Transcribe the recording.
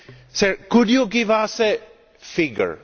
Sir, could you give us a figure?